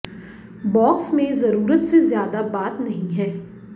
box में ज़रूरत से ज़्यादा बात नहीं है